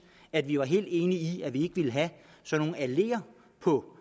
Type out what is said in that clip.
at vi er helt enige i at vi ikke vil have alleer på